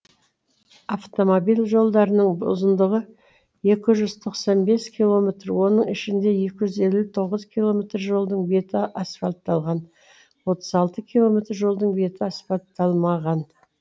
автомобиль жолдарының ұзындығы екі жүз тоқсан бес километр оның ішінде екі жүз елу тоғыз километр жолдың беті асфальтталған отыз алты километр жолдың беті асфальтталмаған